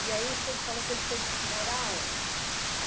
E aí o senhor falou que ele foi morar aonde?